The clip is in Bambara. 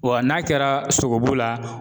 Wa n'a kɛra sogobu la